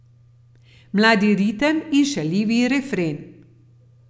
Mladi ritem in šaljivi refren.